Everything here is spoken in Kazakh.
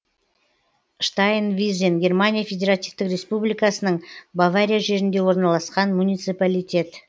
штайнвизен германия федеративтік республикасының бавария жерінде орналасқан муниципалитет